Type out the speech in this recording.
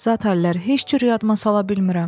Zat hallar heç cür yadıma sala bilmirəm.